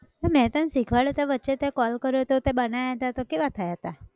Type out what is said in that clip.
મેં તન શીખવાડયું હતું વચ્ચે તે call કર્યો હતો તે બનાયા હતા તો કેવા થયા હતા?